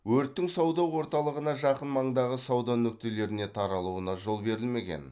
өрттің сауда орталығына жақын маңдағы сауда нүктелеріне таралуына жол берілмеген